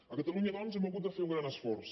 a catalunya doncs hem hagut de fer un gran esforç